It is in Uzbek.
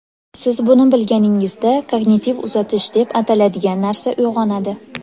Siz buni bilganingizda kognitiv uzatish deb ataladigan narsa uyg‘onadi.